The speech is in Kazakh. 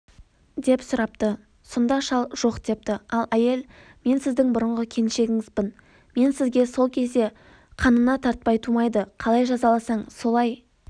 деп сұрапты сонда шал жоқ депті аләйел мен сіздің бұрынғы келіншегіңізбін мен сізге сол кезде қанына тартпай тумайды қалай жазаласаң солай